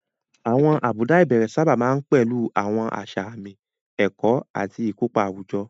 Àwọn àbùdá ìbẹ̀rẹ̀ sábà máa ń pẹ̀lú àwọn àṣà àmì, ẹ̀kọ́, àti ìkópa àwùjọ.